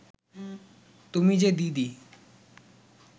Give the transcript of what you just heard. তুমি যে দিদি